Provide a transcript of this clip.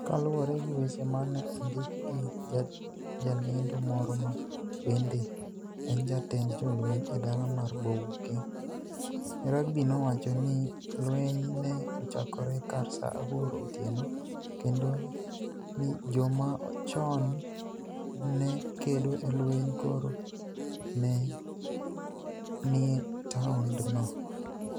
Ka luwore gi weche ma ni e onidik gi jalenido moro ma benide eni jatend jolweniy edala mar Bouake, Rubby nowacho nii lweniy ni e ochakore kar Saa aboro otieno, kenido nii joma choni ni e kedo e lweniy koro ni e nii e taonidno.